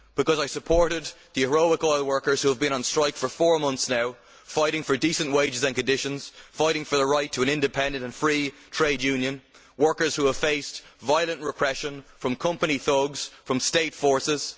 Because I supported the heroic oil workers who have been on strike for four months now, fighting for decent wages and conditions, fighting for the right to an independent and free trade union, workers who have faced violent repression from company thugs, from State forces.